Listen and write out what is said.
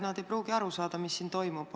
Nad ei pruugi aru saada, mis praegu toimub.